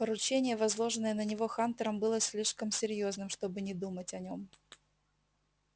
поручение возложенное на него хантером было слишком серьёзным чтобы не думать о нем